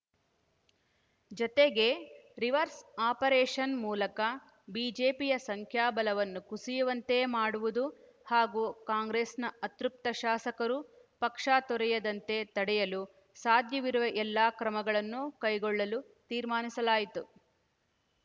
ಜತೆಗೆ reverse operation ಮೂಲಕ ಬಿಜೆಪಿಯ ಸಂಖ್ಯಾಬಲವನ್ನು ಕುಸಿಯುವಂತೆ ಮಾಡುವುದು ಹಾಗೂ ಕಾಂಗ್ರೆಸ್‌ನ ಅತೃಪ್ತ ಶಾಸಕರು ಪಕ್ಷ ತೊರೆಯದಂತೆ ತಡೆಯಲು ಸಾಧ್ಯವಿರುವ ಎಲ್ಲಾ ಕ್ರಮಗಳನ್ನು ಕೈಗೊಳ್ಳಲು ತೀರ್ಮಾನಿಸಲಾಯಿತು